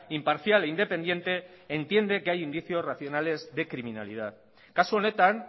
imparcial e independiente entiende que hay indicios racionales de criminalidad kasu honetan